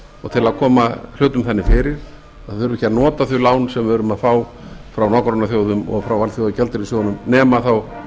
að koma hlutum þannig fyrir að við þurfum ekki að nota þau lán sem við erum að fá frá nágrannaþjóðum og frá alþjóðagjaldeyrissjóðnum nema þá